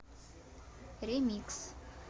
ремикс